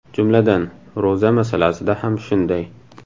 Jumladan, ro‘za masalasida ham shunday.